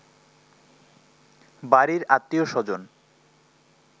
বাড়ির আত্মীয় স্বজন